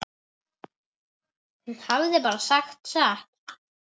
Hún hafði bara sagt satt.